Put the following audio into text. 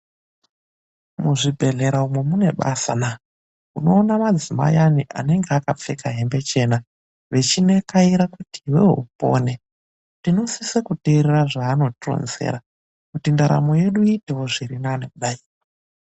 Muzvibhedhlera umo mune basa naa! Unoona madzimayi anonga akapfeka hembe dzekuchena, vechinekaira kuti iwewe upone. Tinosise kuteerera zveanotironzera kuti ndaramo yedu iitewo zvirinani kudai.